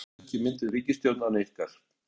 Það verði jafnvel ekki mynduð ríkisstjórn án ykkar?